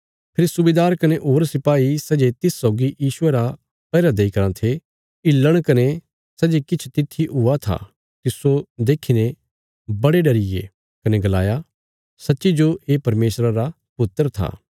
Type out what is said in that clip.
फेरी सुबेदार कने होर सिपाही सै जे तिस सौगी यीशुये रा पैहरा देई कराँ थे हिल्लण कने सै जे किछ तित्थी हुया था तिस्सो देखीने बड़े भरी डरिये कने गलाया सच्ची जो ये परमेशरा रा पुत्र था